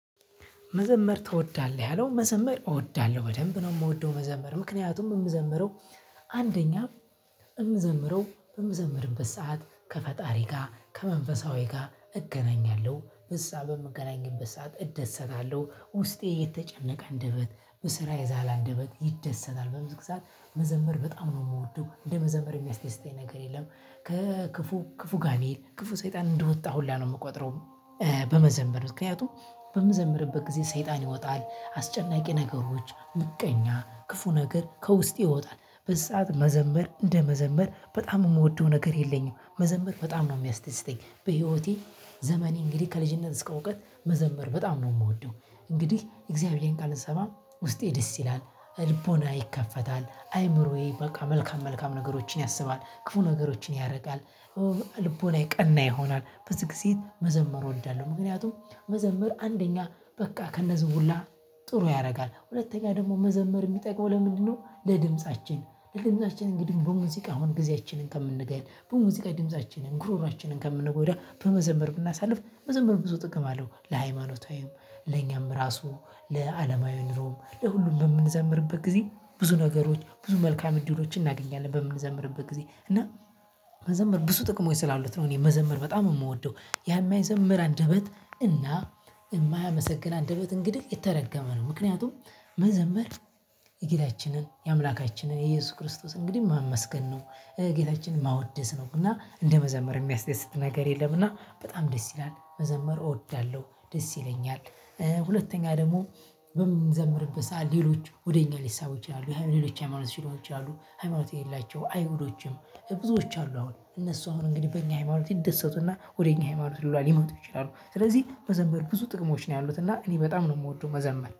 መዘመር ትወዳለህ ያለው መዘመር እወዳለሁ በደንብ ነው። የምወደው መዘመር ምክንያቱም የምዘምረው አንደኛ የምዘምረው በምዘምርበት ሰዓት ከፈጣሪ ጋር ከመንፈሳዊ ጋር እገናኛለሁ እዛ በምገናኝበት ሰዓት እደሰታለሁ ውስጤ የተጨነቀ አንደበት በስራ የዛለ አንደበት ይደሰታል በመዝሙር ሰዓት መዘመር በጣም ነው የምወደው እንደ መዘምር የሚያስደስተኝ ነገር የለም ከክፉ ክፉ ጋኔን ክፉ ሰይጣን እንደወጣ ሁላ ነው የምቆጥረው። በመዘመር ምክንያቱም በምዘምርበት ጊዜ ሰይጣን ይወጣል አስጨናቂ ነገሮች ምቀኛ ክፉ ነገር ከውስጥ ይወጣል በዚ ሰዓት መዘምር እንደ መዘምር በጣም የምወደው ነገር የለኝም። መዘመር በጣም ነው የሚያስደስተኝ በህይወቴ ዘመኔን እንግዲህ ከልጅነት እስከ እውቀት መዘመር በጣም ነው የምወደው። እንግዲህ እግዚአብሔርን ቃል ስሰማ ውስጤ ደስ ይላል ልቦናዬ ይከፈታል አእምሮዬ በቃ መልካም መልካም ነገሮችን ያስባል ክፉ ነገሮችን ያርቃል። ልቦናዬ ቀና ይሆናል። ብዙ ጊዜ መዘመር እወዳለሁ። ምክንያቱም መዘመር አንደኛ በቃ ከነዚህ ሁላ ጥሩ ያደርጋል። ሁለተኛ ደግሞ መዘመር የሚጠቅመው ለምንድነው? ለድምፃችን ለድምፃችን እንግዲህ በሙዚቃ አሁን ጊዜያችንን ከምንገል በሙዚቃ ድምፃችንን ጉሮሮሯንን ከምንጎዳ በመዘመር ብናሳልፍ መዘመር ብዙ ጥቅም አለው። ለሃይማኖታዊም ለእኛም ራሱ ለዓለማዊ ኑሮም ለሁሉም በምንዘምርበት ጊዜ ብዙ ነገሮች ብዙ መልካም እድሎችን እናገኛለን። በምንዘምርበት ጊዜ እና መዘመር ብዙ ጥቅሞች ስላሉት ነው። እኔ መዘመር በጣም የምወደው ያ የማይዘምር አንደበት እና የማያመሰግን አንደበት እንግዲህ የተረገመ ነው። ምክንያቱም የጌታችንን የአምላካችንን የኢየሱስ ክርስቶስ እንግዲህ ማመስገን ነው። ጌታችንን ማወደስ ነው እና እንደ መዘመር የሚያስደስት ነገር የለም እና በጣም ደስ ይላል። መዘመር እወዳለሁ ደስ ይለኛል። ሁለተኛ ደግሞ በምንዘምርበት ሰዓት ሌሎች ወደ እኛ ሊሳቡ ይችላሉ የሌሎች ሃይማኖት ሲሉ ይችላሉ ሃይማኖት የሌላቸው አይሁዶችም ብዙዎች አሉ አሁን እነሱ አሁን እንግዲህ በእኛ ሃይማኖት ይደሰቱና ወደ እኛ ሃይማኖት ሁላ ሊመጡ ይችላሉ። ስለዚህ መዘመር ብዙ ጥቅሞች ነው ያሉት እና እኔ በጣም ነው የምወደው መዘመር